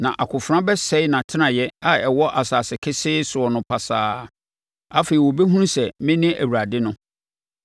na akofena bɛsɛe nʼatenaeɛ a ɛwɔ asase kesee soɔ no pasaa. Afei wɔbɛhunu sɛ, mene Awurade no.